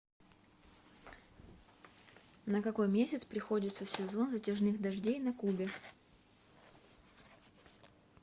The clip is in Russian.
на какой месяц приходится сезон затяжных дождей на кубе